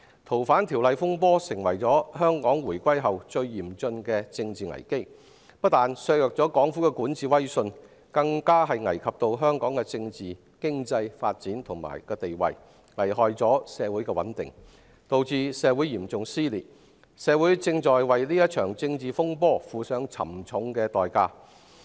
修例風波釀成香港回歸後最嚴峻的政治危機，不單削弱了港府的管治威信，更危及香港的政治、經濟發展和定位，損害社會穩定，導致嚴重撕裂，社會正在為這場政治風波付上沉重代價。